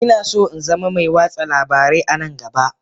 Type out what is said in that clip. Ina so in zama mai watsa labarai a nan gaba